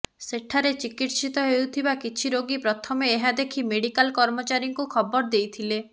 ସେଠାରେ ଚିକିତ୍ସିତ ହେଉଥିବା କିଛି ରୋଗୀ ପ୍ରଥମେ ଏହା ଦେଖି ମେଡିକାଲ କର୍ମଚାରୀଙ୍କୁ ଖବର ଦେଇଥିଲେ